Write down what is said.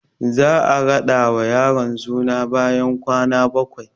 Za a raɗa wa yaron suna bayan kwana bakwai